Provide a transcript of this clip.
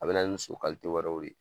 A bɛna nin so wɛrɛw de ye